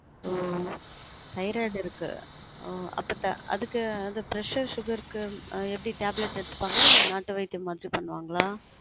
ஒ thyroid இருக்கு ஒ அப்பத்த அதுக்கு அந்த pressure sugar கு எப்டி tablet எடுத்துப்பாங்களா இல்ல நாட்டு வைத்யமாச்சும் பண்ணுவாங்கலா